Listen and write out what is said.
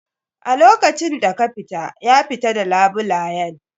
A lokacin da ka fita, ya fita d labulayen.